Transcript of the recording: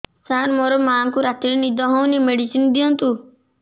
ସାର ମୋର ମାଆଙ୍କୁ ରାତିରେ ନିଦ ହଉନି ମେଡିସିନ ଦିଅନ୍ତୁ